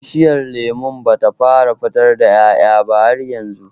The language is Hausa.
Bishiyar lemon ba ta fara fitar da ƴaƴa ba har yanzu